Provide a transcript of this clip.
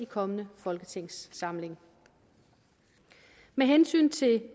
kommende folketingssamling med hensyn til